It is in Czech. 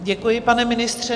Děkuji, pane ministře.